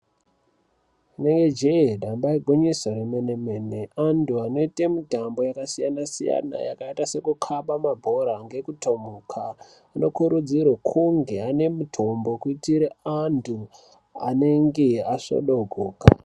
Neejee damba igwinyiso remene mene Antu anoite mutambo yakasiyana siyana yakaita sekukaba mabhora ngekutomuka anokurudzirwe kunge ane mitombo kuitire antu anenge asvodogoka.